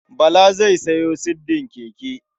Bala zai sayo siddin keke.